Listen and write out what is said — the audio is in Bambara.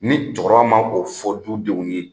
Ni cɛkɔrɔba ma o fɔ du denw ye